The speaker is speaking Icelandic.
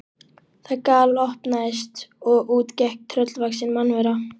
Það galopnaðist og út gekk tröllvaxin mannvera.